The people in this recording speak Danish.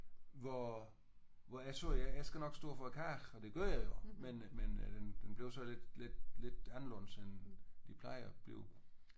Hvor hvor jeg sagde jeg skal nok stå for kagen og det gjorde jeg jo men øh men øh den blev så lidt lidt lidt anderledes end de plejer at blive